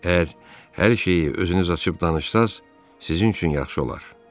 Əgər hər şeyi özünüz açıb danışsanız, sizin üçün yaxşı olar.